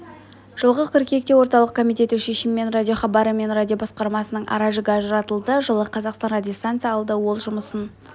жылғы қыркүйекте орталық комитеті шешімімен радиохабары мен радиобасқармасының ара-жігі ажыратылды жылы қазақстан радиостанция алды ол жұмысын